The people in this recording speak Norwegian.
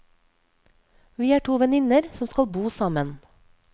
Vi er to venninner som skal bo sammen.